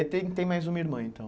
E aí tem tem mais uma irmã, então.